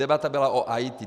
Debata byla o IT.